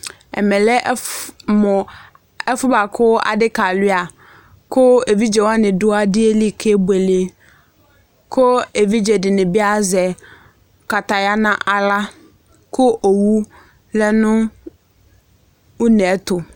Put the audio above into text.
ɛmɛlɛmu ɛfuɛbuɑku ɑdikɑluɑ ku ɛvidzɛwɑni du ɑdieli kɛbuɛlɛ ku ɛvidzɛdini ku ɛdzɛdinibi ɑɀɛkɑtɑyɑnɑ ɑlɑ ku owulɛ nunɛtu